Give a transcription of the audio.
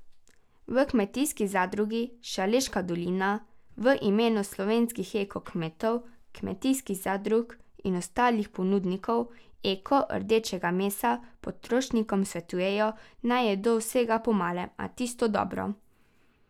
V Kmetijski zadrugi Šaleška dolina v imenu slovenskih eko kmetov, kmetijskih zadrug in ostalih ponudnikov eko rdečega mesa potrošnikom svetujejo, naj jedo vsega po malem, a tisto dobro.